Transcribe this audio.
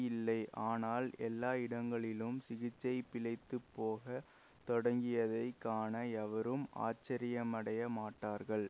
இல்லை ஆனால் எல்லா இடங்களிலும் சிகிச்சை பிழைத்துப் போக தொடங்கியதை காண எவரும் ஆச்சரியமடைய மாட்டார்கள்